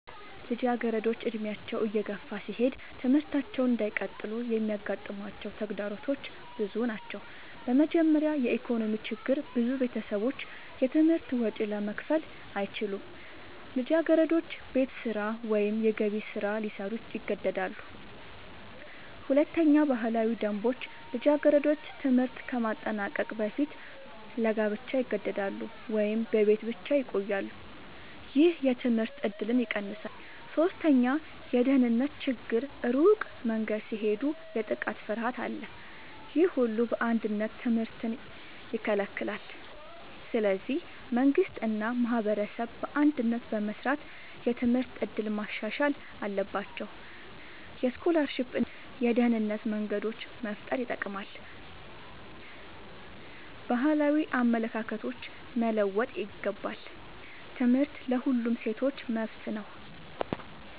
ልጃገረዶች ዕድሜያቸው እየገፋ ሲሄድ ትምህርታቸውን እንዳይቀጥሉ የሚያጋጥሟቸው ተግዳሮቶች ብዙ ናቸው። በመጀመሪያ የኢኮኖሚ ችግር ብዙ ቤተሰቦች የትምህርት ወጪ ለመክፈል አይችሉም። ልጃገረዶች ቤት ስራ ወይም የገቢ ስራ ሊሰሩ ይገደዳሉ። ሁለተኛ ባህላዊ ደንቦች ልጃገረዶች ትምህርት ከማጠናቀቅ በፊት ለጋብቻ ይገደዳሉ ወይም በቤት ብቻ ይቆያሉ። ይህ የትምህርት እድልን ይቀንሳል። ሶስተኛ የደህንነት ችግር ሩቅ መንገድ ሲሄዱ የጥቃት ፍርሃት አለ። ይህ ሁሉ በአንድነት ትምህርትን ይከለክላል። ስለዚህ መንግሥት እና ማህበረሰብ በአንድነት በመስራት የትምህርት እድል ማሻሻል አለባቸው። የስኮላርሺፕ እና የደህንነት መንገዶች መፍጠር ይጠቅማል። ባህላዊ አመለካከቶች መለወጥ ይገባል። ትምህርት ለሁሉም ሴቶች መብት ነው።